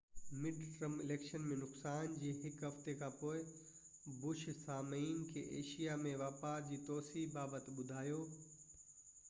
mid term election ۾ نقصان جي هڪ هفتي کانپوءِ بش سامعين کي ايشيا ۾ واپار جي توسيع بابت ٻڌايو